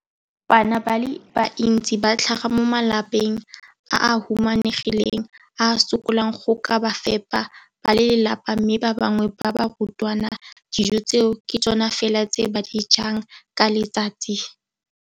Bana ba le bantsi ba tlhaga mo malapeng a a humanegileng a a sokolang go ka fepa ba lelapa mme ba bangwe ba barutwana, dijo tseo ke tsona fela tse ba di jang ka letsatsi.